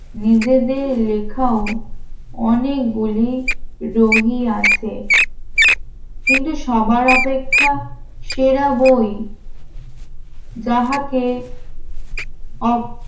নিজেদের লেখাও অনেকগুলি রোগী আছে কিন্তু সবার অপেক্ষা সেরা বই যাহাকে